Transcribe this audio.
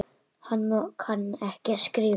Hann kann ekki að skrifa.